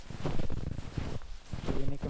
ਇਹ ਨੀਂ ਕੀ